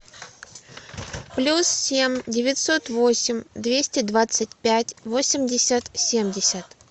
плюс семь девятьсот восемь двести двадцать пять восемьдесят семьдесят